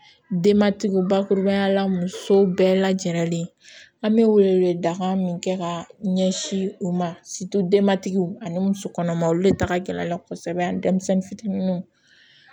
Denbatigiw bakurubaya la musow bɛɛ lajɛlen an bɛ wele wele dakan min kɛ ka ɲɛsin u ma denmatigiw ani musokɔnɔmaw olu de taka la kosɛbɛ ani denmisɛnnin fitininw